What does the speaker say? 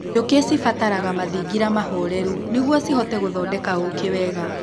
Njũkĩ cibataraga mathingira mahoreru nĩguo cihote gũthondeka ũkĩ wega.